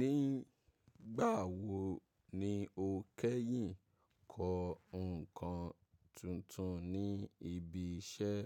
Nígbà wo ni o kẹ́yìn kọ ǹkan tuntun ní ibi iṣẹ́?